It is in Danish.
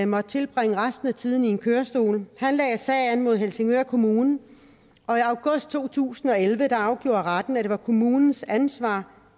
måtte tilbringe resten af tiden i en kørestol han lagde sag an mod helsingør kommune og to tusind og elleve afgjorde retten at det var kommunens ansvar